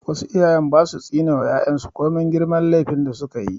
Wasu iyayen ba su tsine ma 'ya'yan su komin girman laifin da su ka yi.